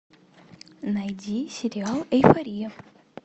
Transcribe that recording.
найди сериал эйфория